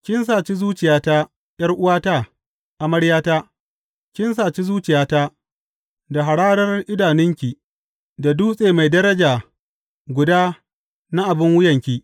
Kin saci zuciyata, ’yar’uwata, amaryata; kin saci zuciyata da hararar idanunki, da dutse mai daraja guda na abin wuyanki.